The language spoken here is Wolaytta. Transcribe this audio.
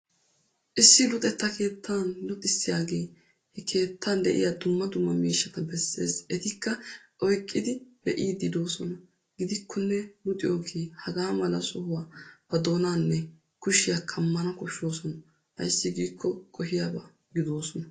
Issi luxetta keettan luxissiyaagee he keettan de'iya dumma dumma miishshata besses etikka oyqqidi be'iiddi doosona. Gidikkone luxiyogee hagaa mala sohuwaa ba doonaanne kushiya kammana koshshoosona ayssi giikko qohiyaba gidoosona.